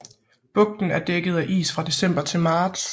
Bugten er dækket af is fra december til marts